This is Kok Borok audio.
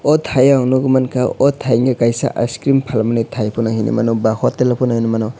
o taiyo ang nogoimangkha o taino kaisa icecream palmani tai phono hinuimano ba hotel pono hinuimano.